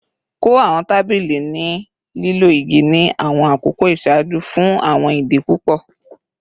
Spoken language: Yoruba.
Kọ awọn tabili ni lilo igi ni awọn akoko iṣaaju fun awọn idi pupọ